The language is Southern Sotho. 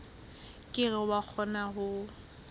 ke ke wa kgona ho